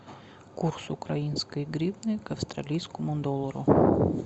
курс украинской гривны к австралийскому доллару